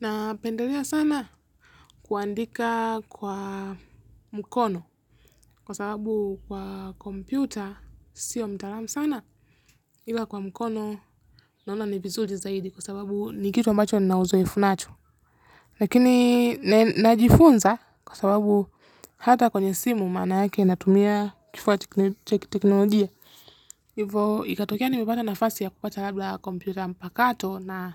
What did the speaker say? Napendelea sana kuandika kwa mkono kwa sababu kwa kompyuta sio mtalamu sana ila kwa mkono naona ni vizuri zaidi kwa sababu ni kitu ambacho nina uzoefu nacho. Lakini najifunza kwa sababu hata kwenye simu maana yake natumia kifaa cha kiteknolojia. Hivyo ikatokea nimepata nafasi ya kupata labda kompyuta mpakato na